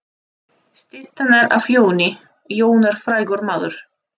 Styttan er af Jóni. Jón er frægur maður.